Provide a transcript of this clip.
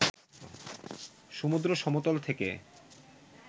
সমুদ্র সমতল থেকে